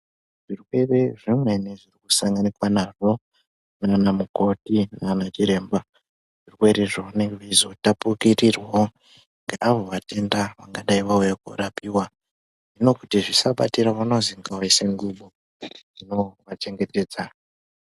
Zvirwere zvimweni zviri kusanganikwa nazvo nana mukoti nana chiremba zvirwere zvavanenge veitapukirirwawo neawo matenda avanenge veida kurapiwa hino kuti zvisabatira vanonzi ngavaise ngubo dzinovachengetedza.